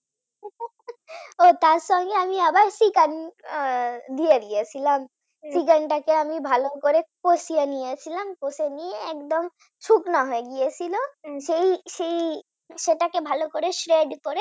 ও তার সঙ্গে আমি আবার চিকেন দিয়ে দিয়েছিলাম চিকেন টাকে আমি ভালো করে কষিয়ে নিয়েছিলাম কষিয়ে নিয়ে একদম শুকনা হয়ে গিয়েছিল সেই সেই সেটাকে ভালো করে shred করে